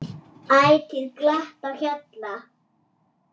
Ætíð glatt á hjalla.